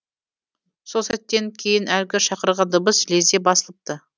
сол сәттен кейін әлгі шақырған дыбыс лезде басылыпты